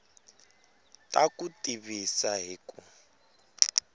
ta ku tivisa hi ku